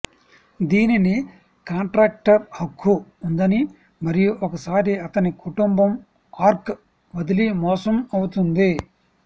దీనిని కాంట్రాక్టర్ హక్కు ఉందని మరియు ఒకసారి అతని కుటుంబం ఆర్క్ వదిలి మోసం అవుతుంది